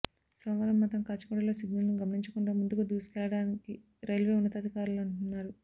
సోమవారం మాత్రం కాచిగూడలో సిగ్నల్ను గమనించకుండా ముందుకు దూసుకెళ్లడాని రైల్వే ఉన్నతాధికారులంటున్నారు